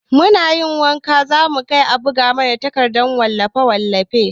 Muna yin waka mukai a buga mana a takarda a kamfanin wallafe-wallafe.